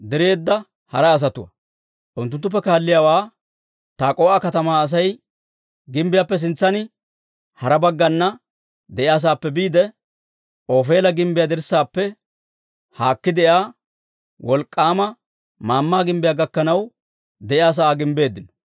Unttunttuppe kaalliyaawaa Tak'o"a katamaa Asay gimbbiyaappe sintsan hara baggana de'iyaasaappe biide, Ofeela gimbbiyaa dirssaappe haakki de'iyaa wolk'k'aama maammaa gimbbiyaa gakkanaw de'iyaa sa'aa gimbbeeddino.